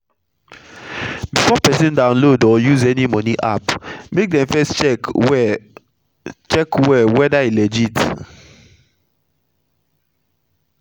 before persin download or use any moni app make dem first check well check well whether e legit